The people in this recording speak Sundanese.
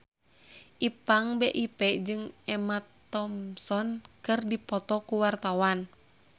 Ipank BIP jeung Emma Thompson keur dipoto ku wartawan